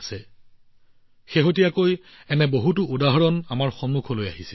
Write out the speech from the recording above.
শেহতীয়াকৈ আমাৰ সন্মুখত এনে বহুতো উদাহৰণৰ উদ্ভৱ হৈছে